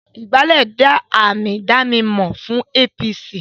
Ìgbálẹ́ jẹ́ àmì ìdánimọ̀ fún APC